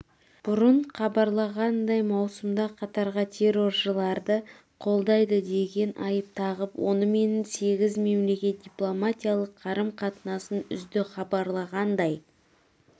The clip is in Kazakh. бұрын хабарланғандай маусымда қатарға терроршыларды қолдайды деген айып тағып онымен сегіз мемлекет дипломатиялық қарым-қатынасын үзді хабарлағандай